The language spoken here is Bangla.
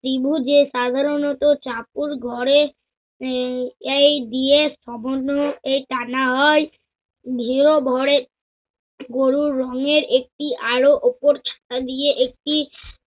ত্রিভুজে সাধারণত চাকুর ঘরে আহ এই দিয়ে সমন্বয় এই টানা হয়। ভিয়ভরে গরুর রঙের একটি আরও উপর ছালা দিয়ে একটি